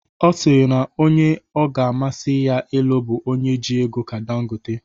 Ọ sịrị na onye ọ ga-amasị ya ịlụ bụ onye ji ego ka Dangotte